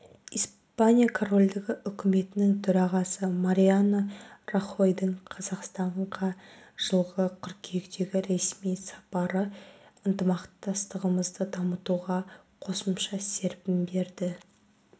испания корольдігі үкіметінің төрағасы мариано рахойдың қазақстанға жылғы қыркүйектегі ресми сапары ынтымақтастығымызды дамытуға қосымша серпін берді